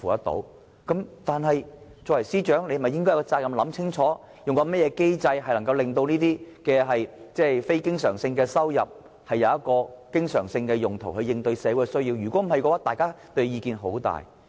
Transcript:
但是，身為司長，他有責任想清楚用甚麼機制，能夠令這些非經常性收入轉化成經常性用途來應對社會的需要，否則，大家會很有意見。